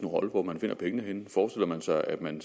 rolle hvor man finder pengene henne forestiller man sig at man